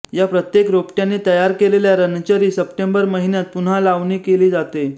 या प्रत्येक रोपट्याने तयार केलेल्या रनरची सप्टेंबर महिन्यात पुन्हा लावणी केली जाते